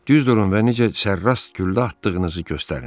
Düz durun və necə sərras güllə atdığınızı göstərin.